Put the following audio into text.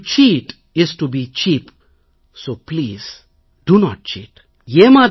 to cheat is to be cheap so please do not seat